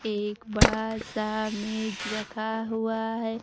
एक बड़ा सा मेज रखा हुआ है।